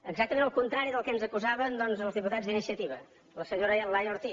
exactament al contrari del que ens acusaven doncs els diputats d’iniciativa la senyora laia ortiz